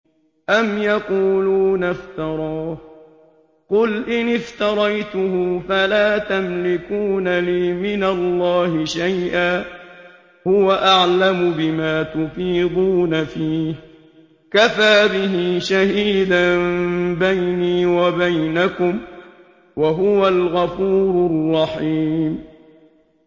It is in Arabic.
أَمْ يَقُولُونَ افْتَرَاهُ ۖ قُلْ إِنِ افْتَرَيْتُهُ فَلَا تَمْلِكُونَ لِي مِنَ اللَّهِ شَيْئًا ۖ هُوَ أَعْلَمُ بِمَا تُفِيضُونَ فِيهِ ۖ كَفَىٰ بِهِ شَهِيدًا بَيْنِي وَبَيْنَكُمْ ۖ وَهُوَ الْغَفُورُ الرَّحِيمُ